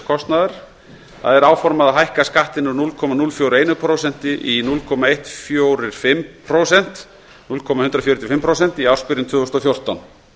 kostnaðar áformað er að hækka skattinn úr núll komma núll fjörutíu og eitt prósent í núll komma eitt fjögur fimm prósent í ársbyrjun tvö þúsund og fjórtán